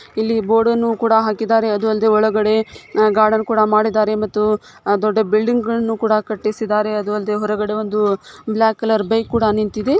ಇಲ್ಲಿ ಬೋರ್ಡ್ ಅನ್ನು ಕೂಡ ಹಾಕಿದಾರೆ ಅದು ಅಲ್ದೆ ಒಳಗಡೆ ಗಾರ್ಡನ್ ಕೂಡ ಮಾಡಿದ್ದಾರೆ ಮತ್ತು ದೊಡ್ಡ ಬಿಲ್ಡಿಂಗಗಳನ್ನು ಕೂಡ ಕಟ್ಟಿಸಿದ್ದಾರೆ. ಅದು ಅಲ್ದೆ ಹೊರಗಡೆ ಒಂದು ಬ್ಲಾಕ್ ಕಲರ್ ಬೈಕ್ ಕೂಡ ನಿಂತಿದೆ.